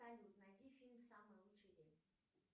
салют найди фильм самый лучший день